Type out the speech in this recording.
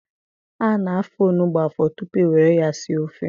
A na-afọ onugbu afọ tupu e nwere ya sie ofe.